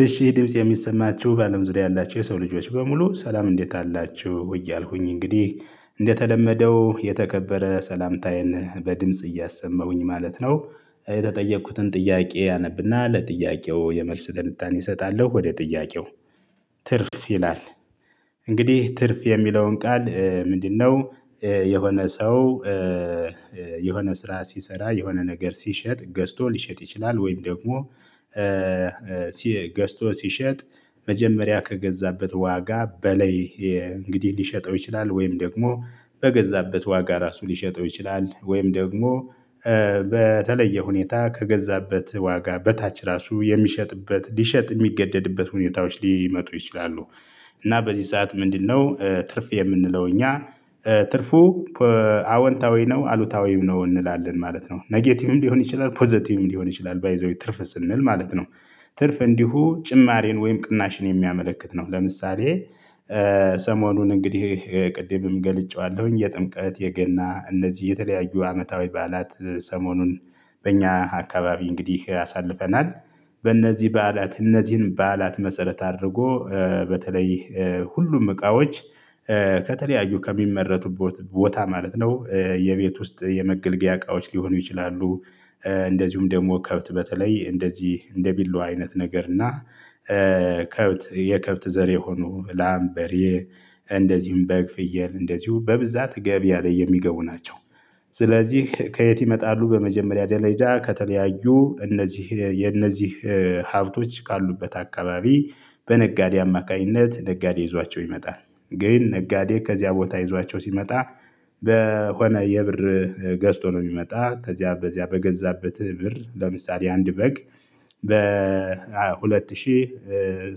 እሺ ድምፄ የሚሰማችሁ በአለም ዙሪያ ያላችሁ የሰው ልጆች በሙሉ ሰላም እንዴት አላችሁ እያልኩኝ እንግዲህ እንደተለመደው የተከበረ ሰላምታዬን በድምጽ እያሰማሁኝ ማለት ነው። የተጠየኩትን ጥያቄ አነብና ለጥያቄው የመልስ ትንታኔ እሰጣለሁ። ወደ ጥያቄው ትርፍ ይላል። እንግዲህ ትርፍ የሚለውን ቃል ምንድነው? የሆነ ሰው። የሆነ ስራ ሲሰራ የሆነ ነገር ሲሸጥ ገዝቶ ሊሸጥ ይችላል ወይም ደግሞ። ገዝቶ ሲሸጥ መጀመሪያ ከገዛበት ዋጋ በላይ እንግዲህ ሊሸጠው ይችላል። ወይም ደግሞ በገዛበት ዋጋ ራሱ ሊሸጠው ይችላል። ወይም ደግሞ በተለየ ሁኔታ ከገዛበት ዋጋ በታች ራሱ የሚሸጥበት ሊሸጥ የሚገደድበት ሁኔታዎች ሊመጡ ይችላሉ። እና በዚህ ሰዓት ምንድነው ትርፍ የምንለው እኛ? ትርፉ አወንታዊ ነው አሉታዊም ነው እንላለን ማለት ነው። ኔጌቲቭም ሊሆን ይችላል ፖዘቲቭም ሊሆን ይችላል ባይ ዘ ዌይ ትርፍ ስንል ማለት ነው። ትርፍ እንዲሁ ጭማሪን ወይም ቅናሽን የሚያመለክት ነው። ለምሳሌ ሰሞኑን እንግዲህ ቅድምም ገልጬዋለሁኝ የጥምቀት የገና እነዚህ የተለያዩ አመታዊ በዓላት ሰሞኑን በእኛ አካባቢ እንግዲህ አሳልፈናል። በእነዚህ በዓላት እነዚህን በዓላት መሰረት አድርጎ በተለይ ሁሉም እቃዎች ከተለያዩ ከሚመረቱበት ቦታ ማለት ነው የቤት ውስጥ የመገልገያ እቃዎች ሊሆኑ ይችላሉ። እንደዚሁም ደግሞ ከብት በተለይ እንደዚህ እንደ ቢላዋ አይነት ነገር እና። ከብት የከብት ዘር የሆኑ ላም በሬ እንደዚህም በግ ፍየል እንደዚሁ በብዛት ገብያ ላይ የሚገቡ ናቸው። ስለዚህ ከየት ይመጣሉ በመጀመሪያ ደረጃ ከተለያዩ እነዚህ የነዚህ ሀብቶች ካሉበት አካባቢ። በነጋዴ አማካኝነት ነጋዴ ይዟቸው ይመጣል ግን ነጋዴ ከዚያ ቦታ ይዟቸው ሲመጣ። በሆነ የብር ገዝቶ ነው የሚመጣ ከዚያ በዚያ በገዛበት ብር ለምሳሌ አንድ በግ። በሁለት ሺህ